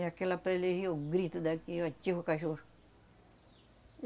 E aquela pele, grito daqui, o cachorro.